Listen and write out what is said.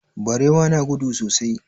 Barewa na da gudu sosai.